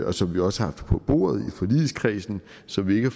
og som vi også har haft på bordet og som vi ikke